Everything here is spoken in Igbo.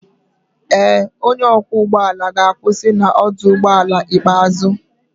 Ee, onye ọkwọ ụgbọ ala ga-akwụsị na ọdụ ụgbọ ala ikpeazụ